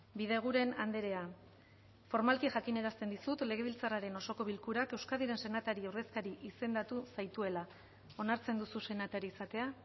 bideguren andrea formalki jakinarazten dizut legebiltzarraren osoko bilkurak euskadiren senatari ordezkari izendatu zaituela onartzen duzu senatari izatea